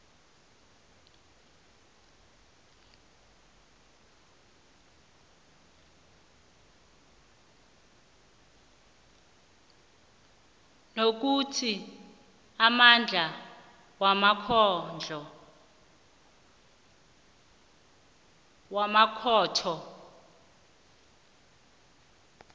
nokuthi amandla wamakhotho